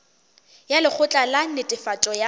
ya lekgotla la netefatšo ya